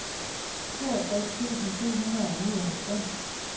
toogtres tusind syv hundrede og nioghalvfems